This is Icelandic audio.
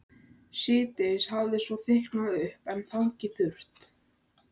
Síðdegis hafði svo þykknað upp en hangið þurrt.